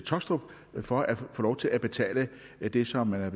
taastrup for at få lov til at betale det som man er